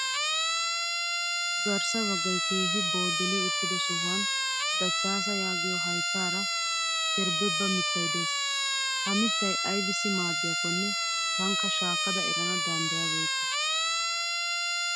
Garssa baggayi keehi booddili uttido sohuwaan dachchaasa yaagiyoo hayittaara kerbebba mittayi des. Ha mittayi aybissi maadiyaakkonne tankka shaakkada erana danddayabeekke.